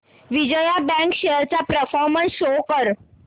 Vijaya bank shares चा performance show कर